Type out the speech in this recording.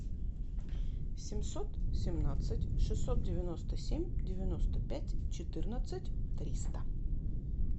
семьсот семнадцать шестьсот девяносто семь девяносто пять четырнадцать триста